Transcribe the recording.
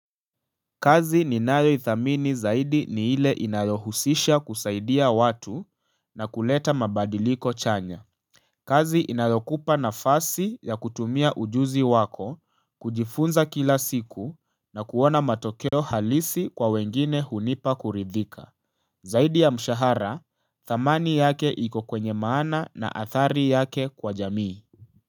Kazi ninayoithamini zaidi ni ile inayohusisha kusaidia watu na kuleta mabadiliko chanya. Kazi inayokupa nafasi ya kutumia ujuzi wako, kujifunza kila siku na kuona matokeo halisi kwa wengine hunipa kuridhika. Zaidi ya mshahara, thamani yake iko kwenye maana na athari yake kwa jamii.